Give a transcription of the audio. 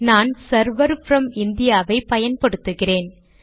நான் server from India வை பயன்படுத்துகிறேன்